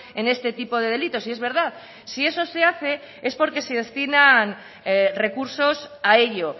en este tipo de delitos y es verdad si eso se hace es porque se destinan recursos a ello